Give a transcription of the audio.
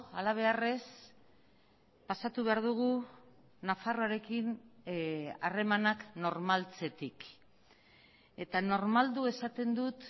hala beharrez pasatu behar dugu nafarroarekin harremanak normaltzetik eta normaldu esaten dut